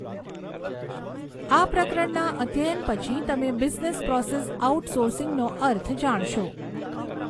આ પ્રકરણના અધ્યયન પછી તમે બિઝનેસ પ્રોસેસ આઉટ સોર્સિંગનો અર્થ જાણશો.